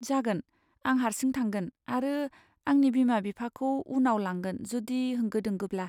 जागोन, आं हारसिं थांगोन आरो आंनि बिमा बिफाखौ उनाव लांगोन जुदि होंगो दोंगोब्ला?